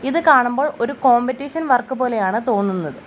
ഇത് കാണുമ്പോൾ ഒരു കോംപറ്റീഷൻ വർക്ക് പോലെയാണ് തോന്നുന്നത്.